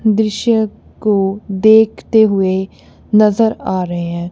दृश्य को देखते हुए नजर आ रहे हैं।